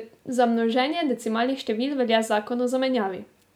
Za množenje decimalnih števil velja zakon o zamenjavi.